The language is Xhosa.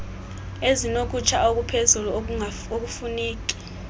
ezinokutsha okuphezulu okufuneki